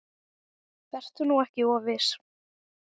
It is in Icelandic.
Vertu nú ekki of viss.